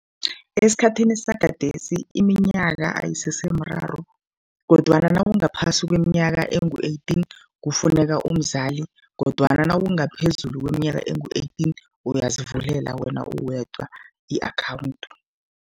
Esikhathini sagadesi iminyaka ayisese mraro kodwana nawungaphasi kweminyaka engu-eighteen, kufuneka umzali kodwana nawungaphezulu kweminyaka engu-eighteen uyazivulela wena uwedwa i-akhawundi.